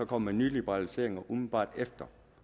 kom med nye liberaliseringer umiddelbart efter